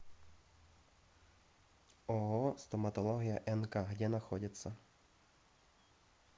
ооо стоматология нк где находится